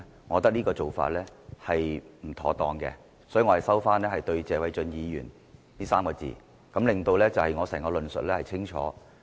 我覺得這個做法是不妥當的，所以我收回"謝偉俊議員"這3個字，以便令我整個論述變得更清楚。